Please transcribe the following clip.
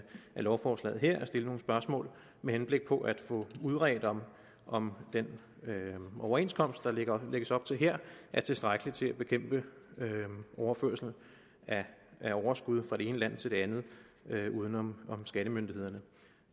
lovforslaget at stille nogle spørgsmål med henblik på at få udredt om om den overenskomst der lægges op til her er tilstrækkelig til at bekæmpe overførsel af overskud fra det ene land til det andet uden om skattemyndighederne